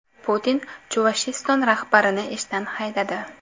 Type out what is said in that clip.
Putin Chuvashiston rahbarini ishdan haydadi.